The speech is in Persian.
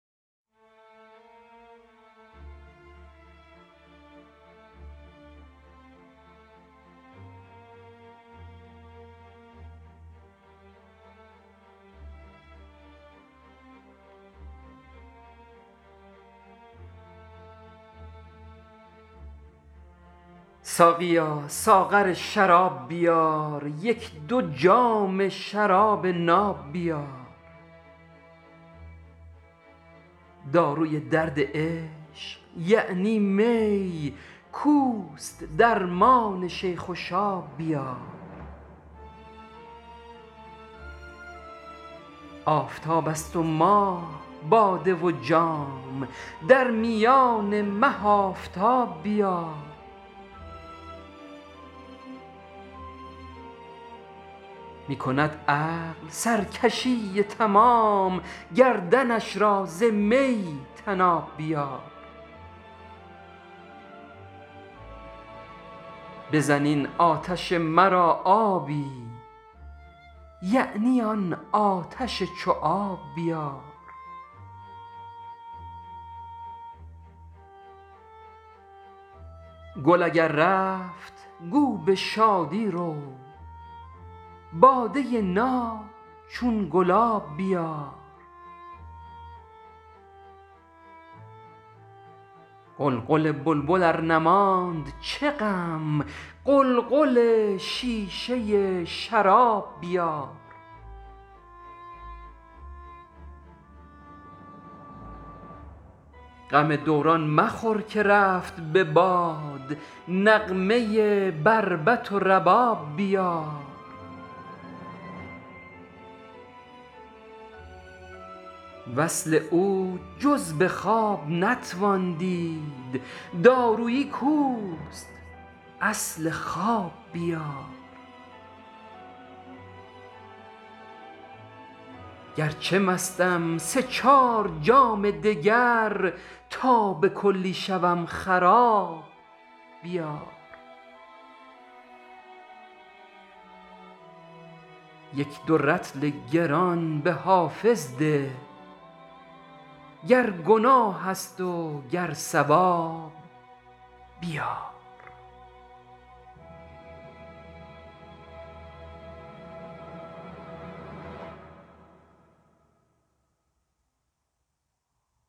ساقیا ساغر شراب بیار یک دو جام شراب ناب بیار داروی درد عشق یعنی می کاوست درمان شیخ و شاب بیار آفتاب است و ماه باده و جام در میان مه آفتاب بیار می کند عقل سرکشی تمام گردنش را ز می طناب بیار بزن این آتش مرا آبی یعنی آن آتش چو آب بیار گل اگر رفت گو به شادی رو باده ناب چون گلاب بیار غلغل بلبل ار نماند چه غم قلقل شیشه شراب بیار غم دوران مخور که رفت به باد نغمه بر بط و رباب بیار وصل او جز به خواب نتوان دید دارویی کاوست اصل خواب بیار گرچه مستم سه چار جام دگر تا به کلی شوم خراب بیار یک دو رطل گران به حافظ ده گرگناه است و گر ثواب بیار